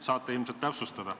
Saate ilmselt täpsustada.